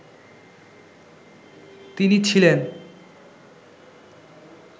তিনি ছিলেন